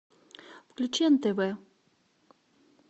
включи нтв